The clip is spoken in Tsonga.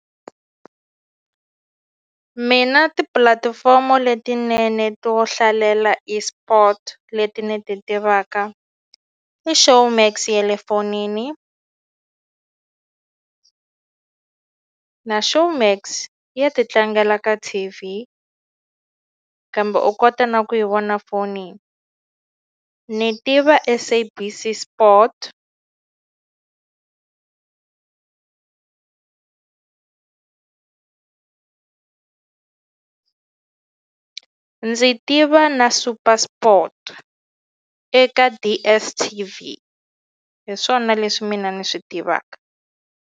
Mina tipulatifomo letinene to hlalela eSport leti ni ti tivaka i Showmax ya le fonini na Showmax ya ti tlangela ka T_V kambe u kota na ku yi vona fonini ni tiva SABC Sport ndzi tiva na Super Sport eka DSTV hi swona leswi mina ni swi tivaka.